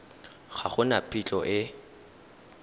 ga go na phitlho e